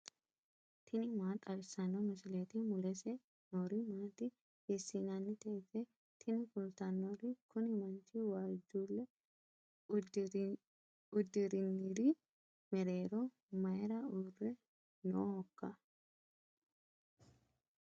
tini maa xawissanno misileeti ? mulese noori maati ? hiissinannite ise ? tini kultannori kuni manchu waajjuulle uddirinri mereero mayra uurre noohoikka